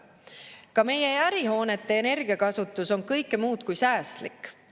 Ka meie ärihoonete energiakasutus on kõike muud kui säästlik.